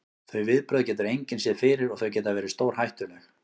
Þau viðbrögð getur engin séð fyrir og þau geta verið stórhættuleg.